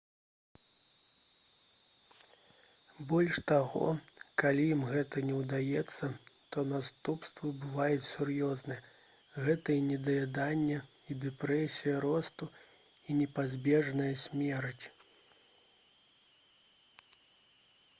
больш таго калі ім гэта не ўдаецца то наступствы бываюць сур'ёзныя гэта і недаяданне і дэпрэсія росту і непазбежная смерць